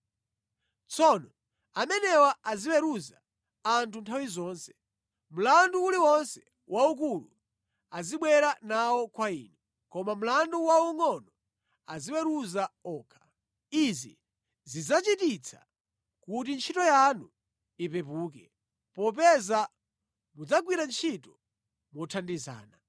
Tsono amenewa aziweruza anthu nthawi zonse. Mlandu uliwonse waukulu azibwera nawo kwa inu, koma mlandu waungʼono aziweruza okha. Izi zidzachititsa kuti ntchito yanu ipepuke, popeza mudzagwira ntchito mothandizana.